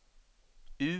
U